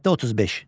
Maddə 35.